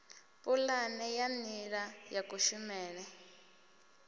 pulane ya nila ya kushumele